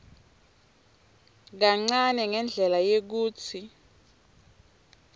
kancane ngendlela yekutsi